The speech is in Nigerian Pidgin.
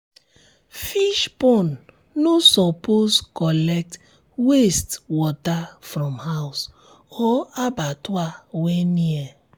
fish pond no suppose collect wastewater from house or abattoir wey near